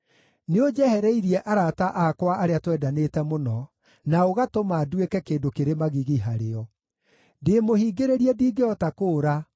Nĩũnjehereirie arata akwa arĩa twendanĩte mũno, na ũgatũma nduĩke kĩndũ kĩrĩ magigi harĩo. Ndĩĩmũhingĩrĩrie ndingĩhota kũũra;